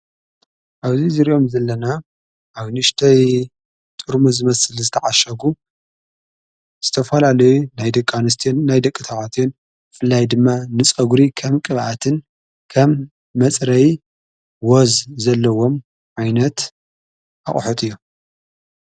ኣብዙይ ዝርዮም ዘለና ኣብ ንሽተይ ጥርሙዝ ዝመስል ዝተዓሸጉ ስተፋላ ለይ ናይ ደቃንስትን ናይ ደቂ ታዋትን ፍላይ ድማ ንጾጕሪ ከም ቅብኣትን ከም መጽረይ ወዝ ዘለዎም ዓይነት ኣቕሑት እዮም::